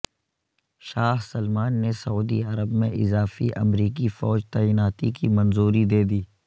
شاہ Salman نے سعودی عرب میں اضافی امریکی فوج تعیناتی کی منظوری دے دی